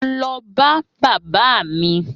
Mo lọ bá bàbá mi